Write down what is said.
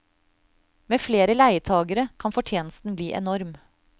Med flere leietagere kan fortjenesten bli enorm.